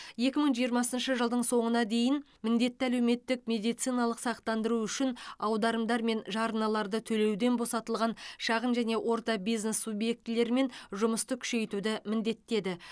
екі мың жиырмасыншы жылдың соңына дейін міндетті әлеуметтік медициналық сақтандыру үшін аударымдар мен жарналарды төлеуден босатылған шағын және орта бизнес субъектілерімен жұмысты күшейтуді міндеттеді